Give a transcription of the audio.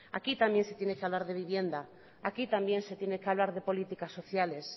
aquí también se tiene que hablar de vivienda aquí también se tiene que hablar de política sociales